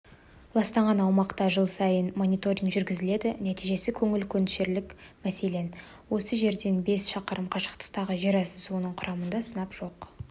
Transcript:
ластанған аумақта жыл сайын мониторг жүргізіледі нәтижесі көңіл көншітерлік мәселен осы жерден бес шақырым қашықтықтағы жерасты суының құрамында сынап жоқ